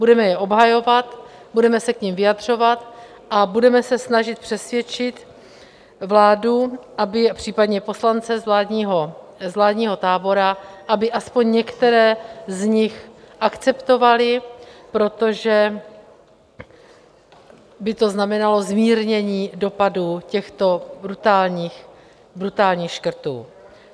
Budeme je obhajovat, budeme se k nim vyjadřovat a budeme se snažit přesvědčit vládu, případně poslance z vládního tábora, aby aspoň některé z nich akceptovali, protože by to znamenalo zmírnění dopadů těchto brutálních škrtů.